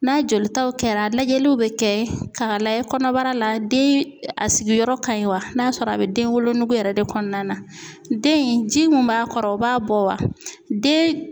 N'a jolitaw kɛra lajɛliw bɛ kɛ ka layɛ kɔnɔbara la den a sigiyɔrɔ ka ɲi wa n'a sɔrɔ a bɛ den wolo yɛrɛ de kɔnɔna na den in ji min b'a kɔrɔ o b'a bɔ wa den